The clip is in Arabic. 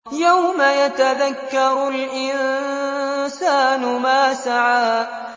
يَوْمَ يَتَذَكَّرُ الْإِنسَانُ مَا سَعَىٰ